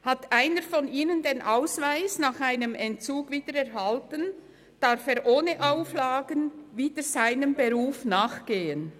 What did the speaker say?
Hat einer von ihnen den Ausweis nach einem Entzug wieder erhalten, darf er ohne Auflagen wieder seinem Beruf nachgehen.